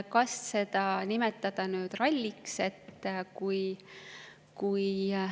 Kas seda saab nimetada ralliks?